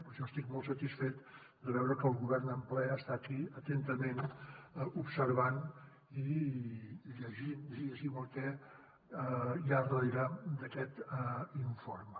per això estic molt satisfet de veure que el govern en ple està aquí atentament observant i llegint el que hi ha darrere d’aquest informe